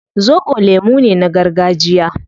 Zobo lemu ne na gargajiya